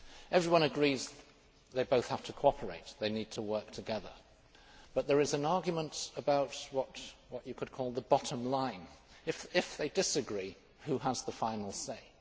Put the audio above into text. Everyone agrees that they both have to cooperate and they need to work together, but there is an argument about what you could call the bottom line if they disagree, who has the final say?